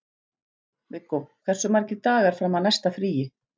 Viggó, hversu margir dagar fram að næsta fríi?